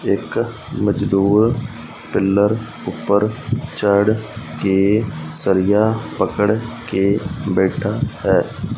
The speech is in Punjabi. ਇੱਕ ਮਜ਼ਦੂਰ ਪਿੱਲਰ ਊਪਰ ਚੜ੍ਹ ਕੇ ਸਰੀਆ ਪਕੜ ਕੇ ਬੈਠਾ ਹੈ।